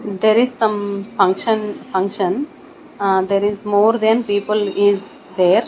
there is some function function ah there is more than people is there.